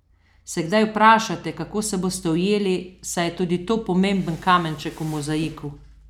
Se kdaj vprašate, kako se boste ujeli, saj je tudi to pomemben kamenček v mozaiku?